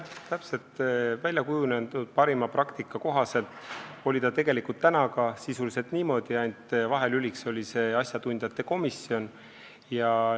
Täpselt, väljakujunenud parima praktika kohaselt oli see tegelikult täna ka sisuliselt niimoodi, ainult vahelüliks oli see asjatundjate komisjon.